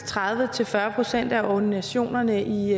tredive til fyrre procent af ordinationerne i